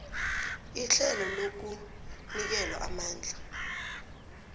ihlelo lokunikelwa amandla